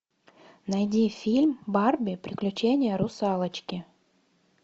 найди фильм барби приключения русалочки